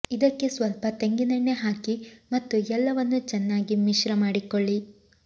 ಇದಕ್ಕೆ ಸ್ವಲ್ಪ ತೆಂಗಿನೆಣ್ಣೆ ಹಾಕಿ ಮತ್ತು ಎಲ್ಲವನ್ನೂ ಚೆನ್ನಾಗಿ ಮಿಶ್ರ ಮಾಡಿಕೊಳ್ಳಿ